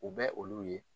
U bɛ olu ye